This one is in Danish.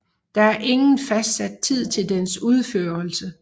Der er ingen fastsat tid til dens udførelse